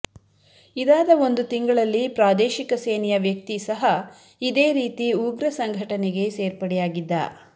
ಇದಾದ ಒಂದು ತಿಂಗಳಲ್ಲಿ ಪ್ರಾದೇಶಿಕ ಸೇನೆಯ ವ್ಯಕ್ತಿ ಸಹ ಇದೇ ರೀತಿ ಉಗ್ರ ಸಂಘಟನೆಗೆ ಸೇರ್ಪಡೆಯಾಗಿದ್ದ